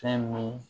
Fɛn min